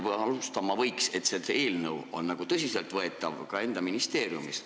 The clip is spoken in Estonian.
Selleks, et see eelnõu oleks nagu tõsiselt võetav, võiks alustada enda ministeeriumist.